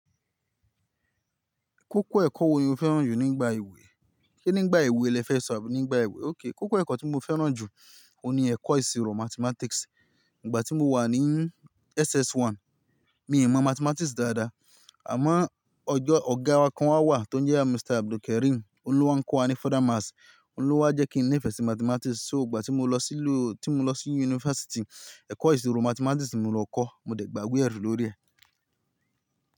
Kókó ẹ̀kọ́ wo ni o fẹ́ràn jù nígbà èwe? Kí nígbà èwe lẹ fẹ́ sọ̀rọ̀, nígbà èwe? Okay, kókó ẹ̀kọ́ tí mo fẹ́ràn jù ó ní ẹ̀kọ́ ìṣirò Mathematics. Ìgbà tí mo wà ní SS1 mi ì mọ Mathematics dáadáa. Àmá ọjọ́ ọ̀gá wa kan wà tó ń jẹ́ Mr. Abdulkarim, oun lo wa kọ́ wa ni Further Maths. Oun lo wa jẹ́ kí n níìfẹ́e sí Mathematics. So ìgbà tí mo lọ sí ilé-- tí mo lọ sí yunifásítì, ẹ̀kọ́ ìṣirò Mathematics ni mo lọ kọ́. Mo dẹ̀ gba iwe erí lórí ẹ̀